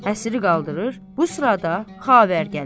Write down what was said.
Həsiri qaldırır, bu sırada xavər gəlir.